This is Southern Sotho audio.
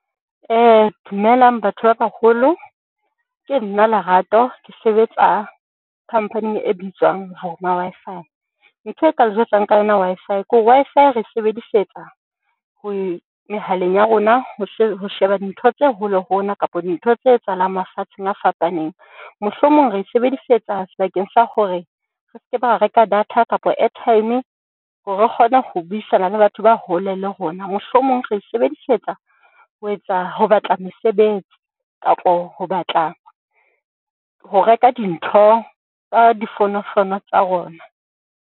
Dumelang batho ba baholo. Ke nna Lerato ke sebetsa company-ing e bitswang Wi-Fi. Ntho e ka le jwetsang ka yona Wi-Fi kore Wi-Fi re e sebedisetsa ho mehaleng ya rona ho ho sheba ntho tse hole le rona kapa dintho tse etsahalang mafatsheng a fapaneng. Mohlomong re sebedisetsa sebakeng sa hore re skebe, ra reka data kapo airtime hore re kgone ho buisana le batho ba hole le rona. Mohlomong re sebedisetsa ho etsa ho batla mesebetsi kapa ho batla, ho reka dintho ka difonofono tsa rona.